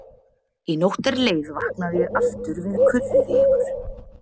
Í nótt er leið vaknaði ég aftur við kurrið í ykkur.